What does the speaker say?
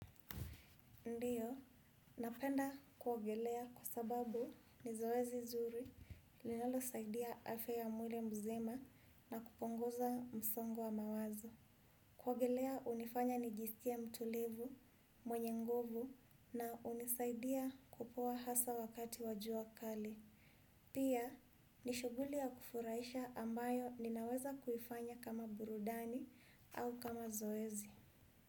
Ndiyo, napenda kuogelea kwa sababu ni zoezi zuri linalosaidia afya ya mwili mzima na kupunguza msongo wa mawazo. Kuogelea unifanya nijiskie mtulivu, mwenye nguvu na unisaidia kupoa hasa wakati wa jua kali. Pia, ni shuguli ya kufuraisha ambayo ninaweza kuifanya kama burudani au kama zoezi.